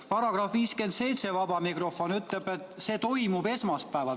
§ 47 ütleb vaba mikrofoni kohta, et see toimub esmaspäeval.